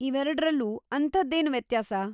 ಇವೆರಡ್ರಲ್ಲೂ ಅಂಥದ್ದೇನು ವ್ಯತ್ಯಾಸ?